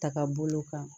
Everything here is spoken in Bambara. Taka bolo kan